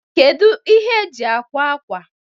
Kedu ihe eji akwa akwa?